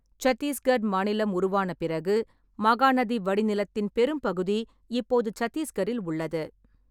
சத்தீஸ்கர் மாநிலம் உருவான பிறகு, மகாநதி வடிநிலத்தின் பெரும்பகுதி இப்போது சத்தீஸ்கரில் உள்ளது.